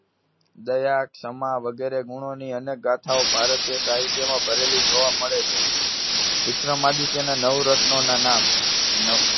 દયા ક્ષમા વગેરે ગુણોની અનેક ગાથાઓ ભારતીય સાહિત્યમાં ભરેલી જોવા મળે છે. વિક્રમાદિત્યના નવરત્નોના નામ. ન~